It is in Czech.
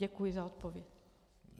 Děkuji za odpověď.